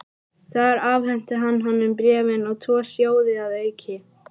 Þar afhenti hann honum bréfin og tvo sjóði að auki.